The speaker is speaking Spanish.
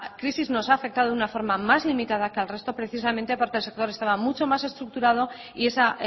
crisis nos ha afectado de una forma más limitada que al resto precisamente porque el sector estaba mucho más estructurado y esa